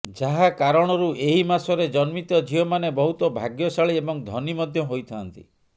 ଯାହା କାରଣରୁ ଏହି ମାସରେ ଜନ୍ମିତ ଝିଅ ମାନେ ବହୁତ ଭାଗ୍ୟଶାଳି ଏବଂ ଧନୀ ମଧ୍ୟ ହୋଇଥାଆନ୍ତି